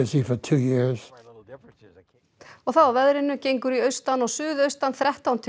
og þá að veðri gengur í austan og suðaustan þrettán til